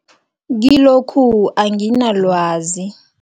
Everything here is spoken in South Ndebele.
Kilokhu anginalwazi.